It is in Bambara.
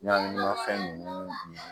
Ɲagamimafɛn ninnu